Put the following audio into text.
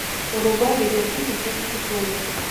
врубай видеофильм в диких условиях